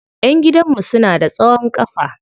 Ƴan gidan mu suna da tsawon kafa.